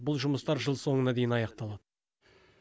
бұл жұмыстар жыл соңына дейін аяқталады